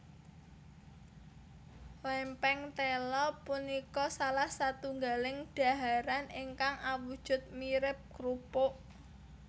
Lèmpèng téla punika salah satunggaling daharan ingkang awujud mirip krupuk